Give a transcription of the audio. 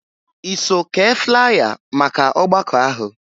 I so kee flya maka ọgbakọ ahụ?